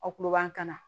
Aw kuruba kana